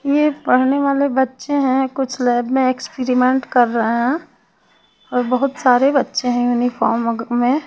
यह पढ़ने वाले बच्चे हैं कुछ लैब में एक्सपेरिमेंट कर रहे हैं और बहुत सारे बच्चे हैं यूनिफॉर्म में।